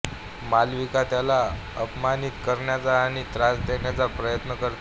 मालविका त्याला अपमानित करण्याचा आणि त्रास देण्याचा प्रयत्न करते